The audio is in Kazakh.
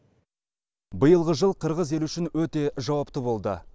биылғы жыл қырғыз елі үшін өте жауапты болды